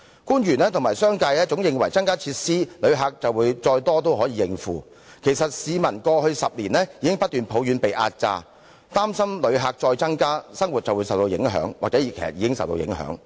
官員和商界認為只要增加設施，旅客再多也可以應付，但其實市民在過去10年已經不斷抱怨被壓榨，很擔心若旅客人數再增加，他們的生活就會受到影響，或是已經正受到影響。